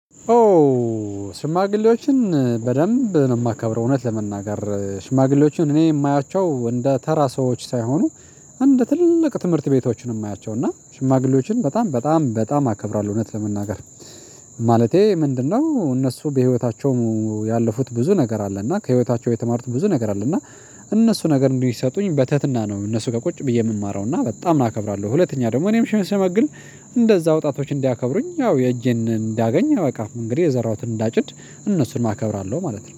ኦ ሽማግሌዎችን በደንብ ነው የማከብረው። እውነት ለመናገር ሽማግሌዎችን እኔ የማያቸው እንደ ተራ ሰዎች ሳይሆኑ። እንደ ትልቅ ትምህርት ቤቶችን የማያቸው እና ሽማግሌዎችን በጣም በጣም በጣም አከብራለሁ። እውነት ለመናገር ማለቴ ምንድነው እነሱ በህይወታቸውም ያለፉት ብዙ ነገር አለ እና ከህይወታቸው የተማሩት ብዙ ነገር አለ። እና እነሱ ነገር እንዲሰጡኝ በትህትና ነው እነሱ ጋር ቁጭ ብዬ የምማረው እና በጣም እናከብራለሁ። ሁለተኛ ደግሞ እኔም ሽመግል እንደዛ አውጣቶች እንዲያከብሩኝ ያው የእጄን እንዳገኝ አያውቅም። እንግዲህ የዘራሁትን እንዳጭድ እነሱንም አከብራለሁ ማለት ነው